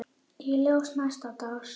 Í ljósi næsta dags